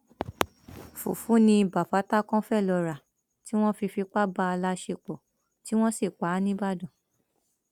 fùfù ni bafatákan fee lọọ rà tí wọn fi fipá bá a láṣepọ tí wọn sì pa á nìbàdàn